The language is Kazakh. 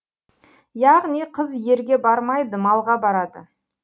яғни қыз ерге бармайды малға барады